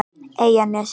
Eyjanesi